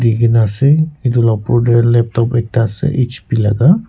dikaena ase aro edu la opor tae laptop ekta ase hp laka.